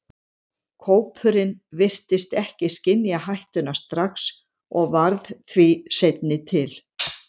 Kópurinn virtist ekki skynja hættuna strax og varð því seinni til.